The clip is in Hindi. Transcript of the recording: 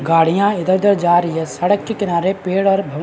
गाड़ियां इधर-उधर जा रही है सड़क के किनारे पेड़ और--